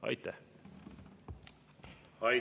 Aitäh!